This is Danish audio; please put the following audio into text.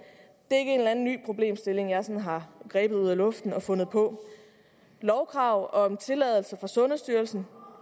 er ikke anden ny problemstilling som jeg sådan har grebet ud af luften og fundet på lovkrav om tilladelse fra sundhedsstyrelsen